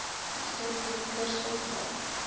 accepted kirsopp lake